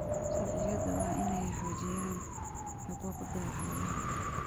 Sharciyadu waa inay xoojiyaan xuquuqda xoolaha.